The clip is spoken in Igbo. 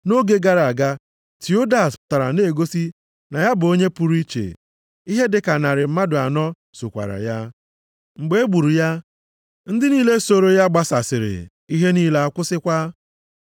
Nʼoge gara aga Teodas pụtara na-egosi na ya bụ onye pụrụ iche, ihe dịka narị mmadụ anọ sokwara ya, mgbe e gburu ya, ndị niile sooro ya gbasasịrị ihe niile a kwụsịkwa.